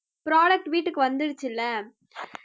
product வீட்டுக்கு வந்துருச்சுல